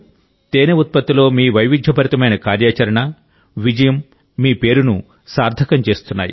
తేనె ఉత్పత్తిలో మీ వైవిధ్య భరితమైన కార్యాచరణ విజయం మీ పేరును సార్థకం చేస్తున్నాయి